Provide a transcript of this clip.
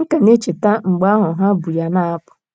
M ka na - echeta mgbe ahụ ha bu ya na - apụ.